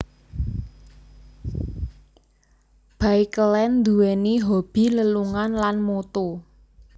Baekeland duwéni hobi lelungan lan moto